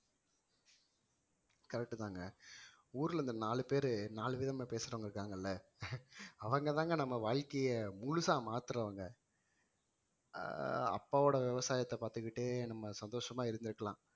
correct தாங்க ஊர்ல இந்த நாலு பேரு நாலு விதமா பேசுறவங்க இருக்காங்கல்ல அவங்கதாங்க நம்ம வாழ்க்கைய முழுசா மாத்துறவங்க ஆஹ் அப்பாவோட விவசாயத்தை பார்த்துக்கிட்டே நம்ம சந்தோஷமா இருந்திருக்கலாம்